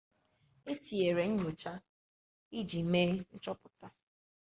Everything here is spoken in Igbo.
e tinyere nnyocha iji mee nchọpụta